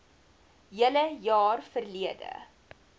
hele jaar verlede